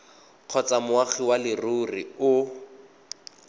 kgotsa moagi wa leruri o